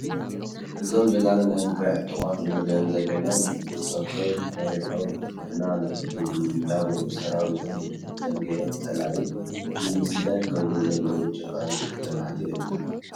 እዞም ጀጋኑ ናይ ትግራይ ፅጡቃት እንሪኦም ዘለና ንብፀቶም መሪሖም ንሕና ንቅድሚት እንዳበሉ ሰራዊቶም ብድሕሪቶም ጌሮም ፀላኢ ንምስዳድ ዝከዱ ዘለዉ ጀጋኑ ደቂ ትግራይ እዮም።